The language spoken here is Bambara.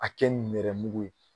A kɛ nɛrɛmugu ye